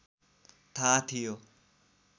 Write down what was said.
थाहा थियो